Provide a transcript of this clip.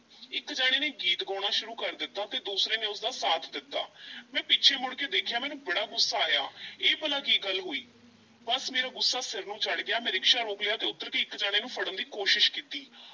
ਇੱਕ ਜਣੇ ਨੇ ਗੀਤ ਗਾਉਣਾ ਸ਼ੁਰੂ ਕਰ ਦਿੱਤਾ ਤੇ ਦੂਸਰੇ ਨੇ ਉਸ ਦਾ ਸਾਥ ਦਿੱਤਾ ਮੈਂ ਪਿੱਛੇ ਮੁੜ ਕੇ ਦੇਖਿਆ, ਮੈਨੂੰ ਬੜਾ ਗੁੱਸਾ ਆਇਆ ਇਹ ਭਲਾ ਕੀ ਗੱਲ ਹੋਈ? ਬੱਸ ਮੇਰਾ ਗੁੱਸਾ ਸਿਰ ਨੂੰ ਚੜ੍ਹ ਗਿਆ, ਮੈਂ ਰਿਕਸ਼ਾ ਰੋਕ ਲਿਆ ਤੇ ਉੱਤਰ ਕੇ ਇੱਕ ਜਣੇ ਨੂੰ ਫੜਨ ਦੀ ਕੋਸ਼ਸ਼ ਕੀਤੀ,